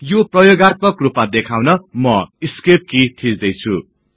यो प्रयोगात्मक रुपमा देखाउन म ESC कि थिच्दै छु